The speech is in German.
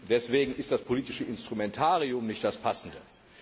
Deswegen ist das politische Instrumentarium nicht das passende.